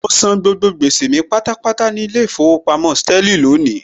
Mọ san gbogbo gbèsè mi pátápátá ní ilé ìfowópamọ́ Sterling lónìí